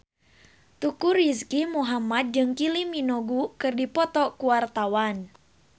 Teuku Rizky Muhammad jeung Kylie Minogue keur dipoto ku wartawan